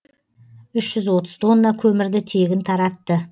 үш жүз отыз тонна көмірді тегін таратты